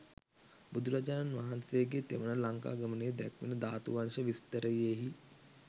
බුදුරජාණන් වහන්සේගේ තෙවන ලංකාගමනය දැක්වෙන ධාතුවංශ විස්තරයෙහි